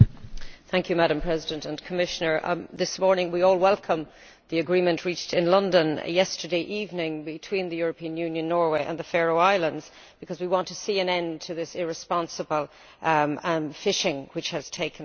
Madam President, Commissioner, this morning we all welcomed the agreement reached in London yesterday evening between the European Union, Norway and the Faroe Islands, because we want to see an end to this irresponsible fishing which has taken place.